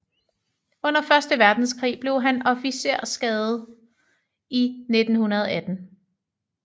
Under første verdenskrig blev han officerskadet i 1918